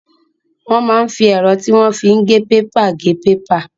Wọ́n máa ń fi ẹ̀rọ tí wọ́n fi ń gé pépà gé pépà.